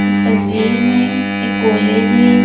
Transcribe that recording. इस तस्वीर में एक कॉलेज है।